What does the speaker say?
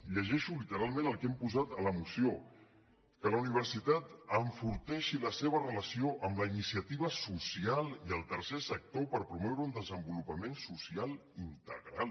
llegeixo literalment el que hem posat a la moció que la universitat enforteixi la seva relació amb la iniciativa social i el tercer sector per promoure un desenvolupament social integral